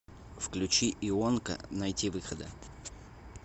включи ионка найтивыхода